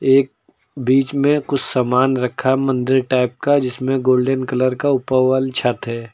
एक बीच में कुछ सामान रखा मंदिर टाइप का जिसमें गोल्डन कलर का ऊपर वॉल छत है।